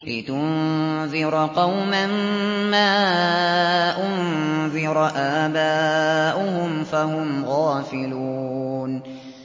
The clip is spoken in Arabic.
لِتُنذِرَ قَوْمًا مَّا أُنذِرَ آبَاؤُهُمْ فَهُمْ غَافِلُونَ